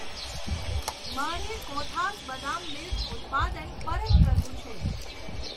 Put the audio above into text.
મારે કોથાઝ બદામ મિલ્ક ઉત્પાદન પરત કરવું છે.